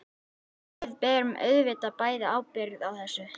Við berum auðvitað bæði ábyrgð á þessu.